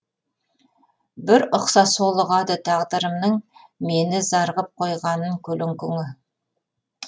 бір ұқса сол ұғады тағдырымның мені зар ғып қойғанын көлеңкеңе